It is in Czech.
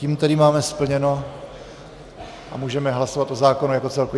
Tím tedy máme splněno a můžeme hlasovat o zákonu jako celku.